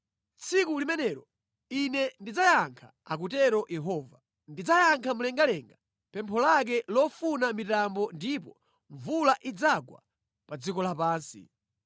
“Tsiku limenelo Ine ndidzayankha,” akutero Yehova. “Ndidzayankha mlengalenga pempho lake lofuna mitambo ndipo mvula idzagwa pa dziko lapansi;